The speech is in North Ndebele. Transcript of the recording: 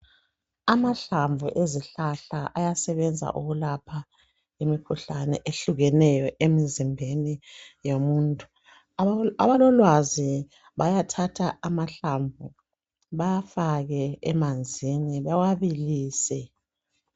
Amahlamvu ezihlahla ayasebenza ukwelapha imikhuhlane ehlukeneyo emizimbeni yomuntu abalolwazi bayathatha amahlamvu bawafake emanzini bewabilise